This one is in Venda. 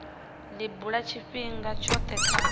li bula tshifhinga tshothe kha